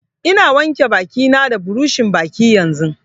Ina wanke baki na da buroshin baki yanzun